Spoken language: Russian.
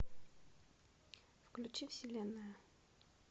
включи вселенная